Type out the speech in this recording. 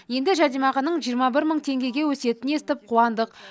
енді жәрдемақының жиырма бір мың теңгеге өсетінін естіп қуандық